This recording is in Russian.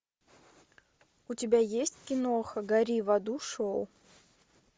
у тебя есть киноха гори в аду шоу